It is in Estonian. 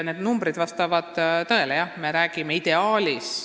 Numbrid vastavad tõele, me räägime ideaalist.